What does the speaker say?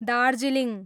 Darjeeling